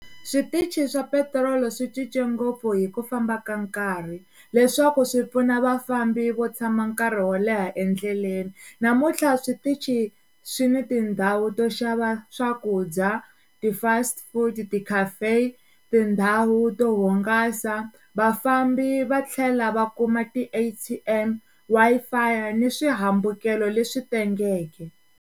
Switichi swa petirolo swi cince ngopfu hi ku famba ka nkarhi leswaku swi pfuna vafambi vo tshama nkarhi wo leha endleleni namuntlha switichi swi ni tindhawu to xava swakudya, ti-fast food, ti-caffeine, tindhawu to hungasa, vafambi va tlhela va kuma ti-A_T_M, Wi-Fi ni swihambukelo leswi tengeke.